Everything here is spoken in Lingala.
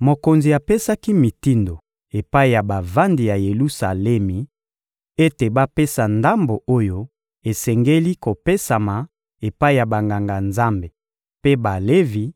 Mokonzi apesaki mitindo epai ya bavandi ya Yelusalemi ete bapesa ndambo oyo esengeli kopesama epai ya Banganga-Nzambe mpe Balevi